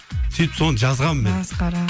сөйтіп соны жазғанмын мен масқара